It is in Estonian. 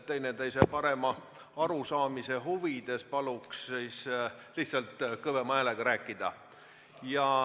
Teineteisest parema arusaamise huvides paluks siis lihtsalt kõvema häälega rääkida.